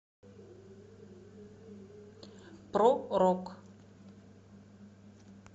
про рок